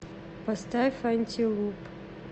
поставь антилуп